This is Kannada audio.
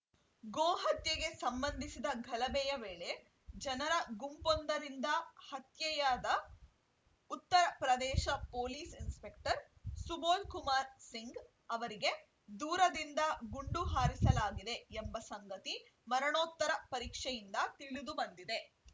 ಗೋಹತ್ಯೆಗೆ ಸಂಬಂಧಿಸಿದ ಗಲಭೆಯ ವೇಳೆ ಜನರ ಗುಂಪೊಂದರಿಂದ ಹತ್ಯೆಯಾದ ಉತ್ತರ ಪ್ರದೇಶ ಪೊಲೀಸ್‌ ಇನ್ಸ್‌ಪೆಕ್ಟರ್‌ ಸುಬೋಧ್‌ ಕುಮಾರ್‌ ಸಿಂಗ್‌ ಅವರಿಗೆ ದೂರದಿಂದ ಗುಂಡು ಹಾರಿಸಲಾಗಿದೆ ಎಂಬ ಸಂಗತಿ ಮರಣೋತ್ತರ ಪರೀಕ್ಷೆಯಿಂದ ತಿಳಿದುಬಂದಿದೆ